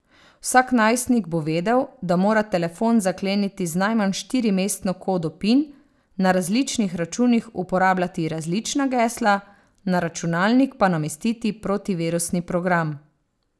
Vsak najstnik bo vedel, da mora telefon zakleniti z najmanj štirimestno kodo pin, na različnih računih uporabljati različna gesla, na računalnik pa namestiti protivirusni program.